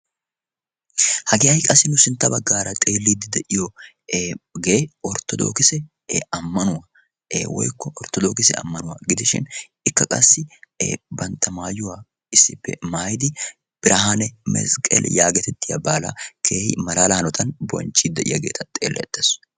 hagee hay qassi nu sintta baggaara xeelliiddi de'iyoogee orttodookisi ammanuwaa e woykko orttodookisi ammanuwaa gidishin ikka qassi bantta maayuwaa issippe maayidi birahaane misqqel yaagetettiya baala keehi malaala hanotan bonchchi de7iyaageeta xeellettaesu